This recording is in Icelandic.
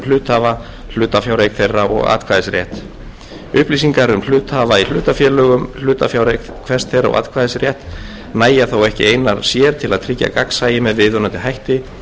hluthafa hlutafjáreign þeirra og atkvæðisrétt upplýsingar um hluthafa í hlutafélögum hlutafjáreign hvers þeirra og atkvæðisrétt nægja þó ekki einar sér til að tryggja gagnsæi með viðunandi hætti